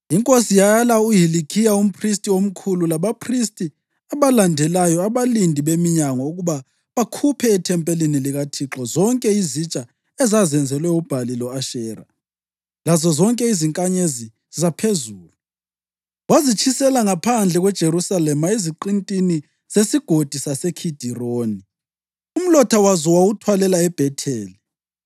Inkosi yalaya uHilikhiya umphristi omkhulu labaphristi abalandelayo labalindi beminyango ukuba bakhuphe ethempelini likaThixo zonke izitsha ezazenzelwe uBhali lo-Ashera, lazozonke izinkanyezi zaphezulu, wazitshisela ngaphandle kweJerusalema eziqintini zeSigodi saseKhidironi, umlotha wazo wawuthwalela eBhetheli.